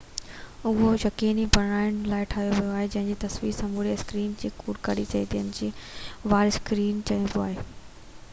اهو يقيني بڻائڻ لاءِ ٺاهيو ويو آهي تہ تصوير سموري اسڪرين کي ڪور ڪري ٿي جنهن کي اور اسڪرين چئبو آهي